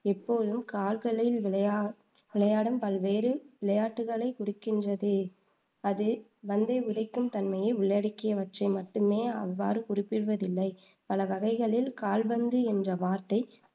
எப்போதும் கால்களில் விளையா விளையாடும் பல்வேறு விளையாட்டுக்களைக் குறிக்கின்றது அது பந்தை உதைக்கும் தன்மையை உள்ளடக்கியவைற்றை மட்டுமே அவ்வாறு குறிப்பிடுவதில்லை. பல வகைளில், கால்பந்து என்ற வார்த்தை